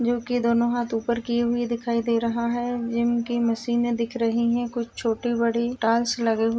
जोकि दोनों हाथ ऊपर किये हुए दिखाई दे रहा है। जिम की मशीने दिख रही हैं। कुछ छोटी बड़ी टाइल्स लगे हुए --